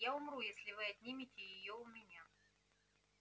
я умру если вы отнимете её у меня